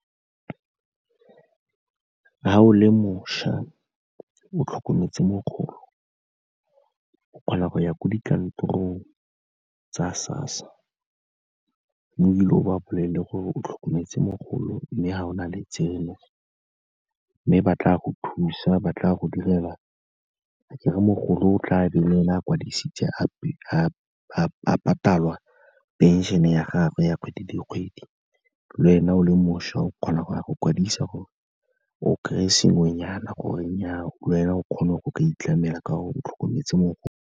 Ga o le mošwa o tlhokometse mogolo, o kgona go ya ko dikantorong tsa SASSA o ile o ba bolelele gore o tlhokometse mogolo mme ga o na le tseno, mme ba tla go thusa, ba tla go direla, akere mogolo o tla be le ene a kwadisitse a patalwa phenšene ya gagwe ya kgwedi le kgwedi, lwena o le mošwa o kgona go ya go kwadisa gore o kry-e sengwenyana gore nnya, le wena o kgone go itlamela ka gore o tlhokometse mogolo.